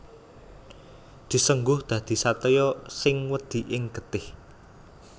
Disengguh dadi satriya sing wedi ing getih